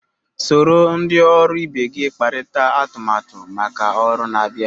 Soro ndị ọrụ ibe gị kparịta atụmatụ maka ọrụ na-abịa.